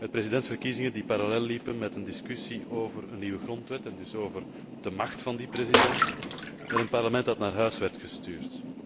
Met presidentsverkiezingen die parallel liepen met een discussie over een nieuwe grondwet en dus over de macht van die president, met een parlement dat naar huis werd gestuurd.